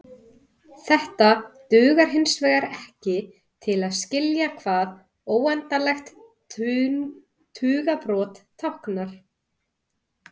Þetta dugar hinsvegar ekki til að skilja hvað óendanlegt tugabrot táknar.